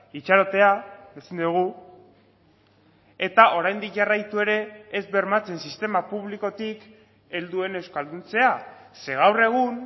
itxarotea ezin dugu eta oraindik jarraitu ere ez bermatzen sistema publikotik helduen euskalduntzea ze gaur egun